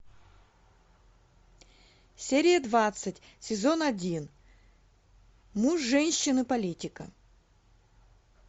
серия двадцать сезон один муж женщины политика